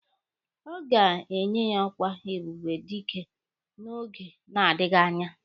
A ga-enye ya ọkwa ebube dike n'oge na-adịghị anya.